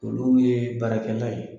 Olu yee baarakɛla ye.